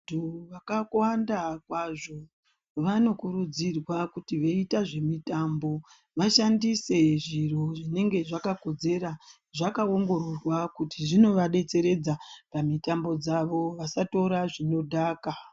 Vantu wakakwanda kwazvo wanokurudzirwa kuti weiita zvemitambo washandise zviro zvinenge zvakakodzera zvakaongororwa kuti zvinowadetseredza pamitambo dzavo wasatora zvinodhaka.